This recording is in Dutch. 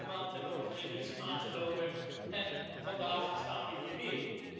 Vorige maand hebben we nog een resolutie aangenomen, en vandaag staan we hier weer.